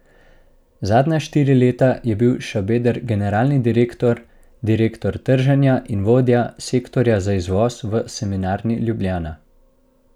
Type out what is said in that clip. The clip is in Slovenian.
Zadnja štiri leta je bil Šabeder generalni direktor, direktor trženja in vodja sektorja za izvoz v Semenarni Ljubljana.